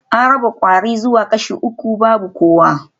An raba kwari zuwa kashi uku babu kowa